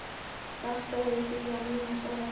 Þakka þér fyrir að minnast á þetta.